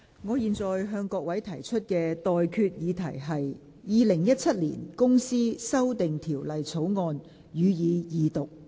我現在向各位提出的待決議題是：《2017年公司條例草案》，予以二讀。